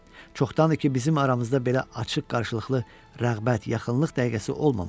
Çoxdandır ki, bizim aramızda belə açıq, qarşılıqlı rəğbət, yaxınlıq dəqiqəsi olmamışdı.